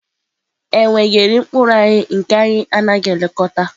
Enwe ga-eri mkpụrụ anyị bụ anyị anaghị elekọta.